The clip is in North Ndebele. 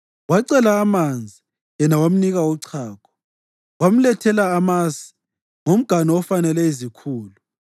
Wacela amanzi, yena wamnika uchago, wamlethela amasi ngomganu ofanele izikhulu.